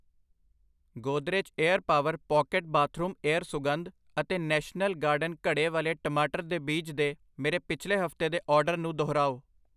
Godrej air power pocket bathroom air ਸੁਗੰਧ ਅਤੇ national garden ਘੜੇ ਵਾਲੇ ਟਮਾਟਰ ਦੇ ਬੀਜ ਦੇ ਮੇਰੇ ਪਿਛਲੇ ਹਫਤੇ ਦੇ ਆਰਡਰ ਨੂੰ ਦੁਹਰਾਓ।